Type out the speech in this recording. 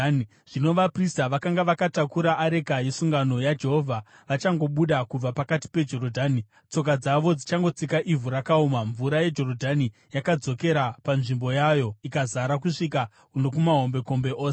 Zvino vaprista vakanga vakatakura areka yesungano yaJehovha vachangobuda kubva pakati peJorodhani, tsoka dzavo dzichangotsika ivhu rakaoma, mvura yeJorodhani yakadzokera panzvimbo yayo ikazara kusvika nokumahombekombe ose.